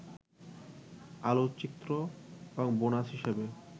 আলোকচিত্র এবং বোনাস হিসেবে